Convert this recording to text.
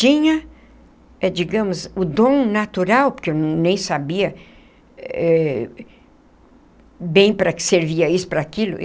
Tinha, digamos, o dom natural, porque eu nem sabia eh bem para que servia isso para aquilo.